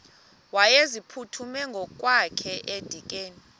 wayeziphuthume ngokwakhe edikeni